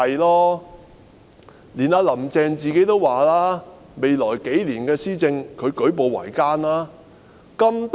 連"林鄭"自己也說未來數年的施政舉步維艱。